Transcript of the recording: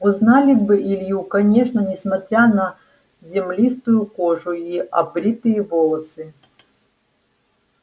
узнали бы илью конечно несмотря на землистую кожу и обритые волосы